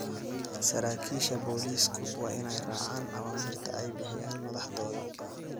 Saraakiisha booliisku waa inay raacaan awaamiirta ay bixiyaan madaxdooda.